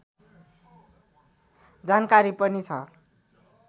जानकारी पनि छ